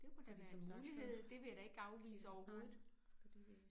Fordi som sagt så nej fordi vi